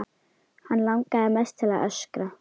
Hann langar mest til að öskra.